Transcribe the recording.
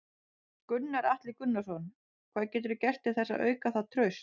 Gunnar Atli Gunnarsson: Hvað geturðu gert til þess að auka það traust?